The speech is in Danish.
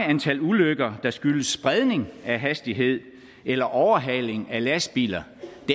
antal ulykker der skyldes spredning af hastighed eller overhaling af lastbiler